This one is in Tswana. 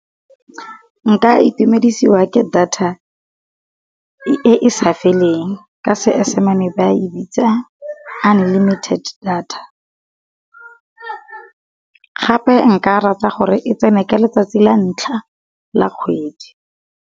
Nka itumedisiwa ke data e sa feleng ka Seesimane ba e bitsa unlimited data. Gape nka rata gore e tsene ka letsatsi la ntlha la kgwedi.